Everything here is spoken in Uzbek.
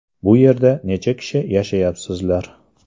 Bu yerda necha kishi yashayapsizlar?